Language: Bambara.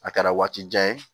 A kɛra waati jan ye